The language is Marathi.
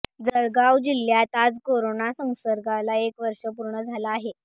जळगाव जिल्ह्यात आज करोना संसर्गाला एक वर्ष पूर्ण झालं आहे